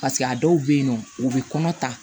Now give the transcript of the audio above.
a dɔw bɛyinɔ u bɛ kɔnɔ ta